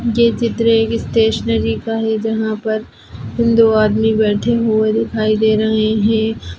ये चित्र एक स्टेशनरी का है जहां पर हिन्दू आदमी बैठे हुए दिखाई दे रहे है।